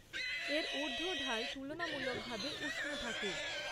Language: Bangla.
এর ঊর্ধ্ব ঢাল তুলনামূলকভাবে উষ্ণ থাকে।